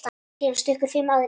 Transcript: Síðan stukku fimm aðrir.